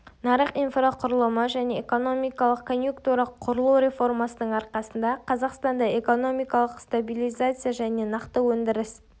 нарық инфрақұрылымы және экономикалық конъюнктура құрылу реформасының арқасында қазақстанда экономикалық стабилизация және нақты өндіріс